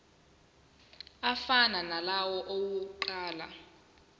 afana nalawo awokuqala